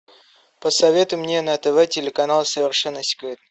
посоветуй мне на тв телеканал совершенно секретно